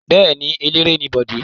Bẹ́ẹ̀ ni, eléré ni Bọ̀dé.